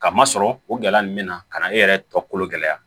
Ka masɔrɔ o gɛlɛya nunnu bɛna ka na e yɛrɛ tɔ kolo gɛlɛya